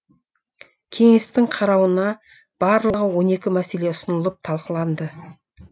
кеңестің қарауына барлығы он екі мәселе ұсынылып талқыланды